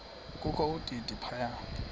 kokho udidi phaka